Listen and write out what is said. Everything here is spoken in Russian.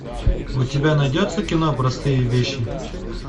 у тебя найдется кино простые вещи